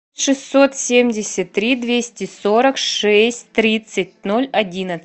шестьсот семьдесят три двести сорок шесть тридцать ноль одиннадцать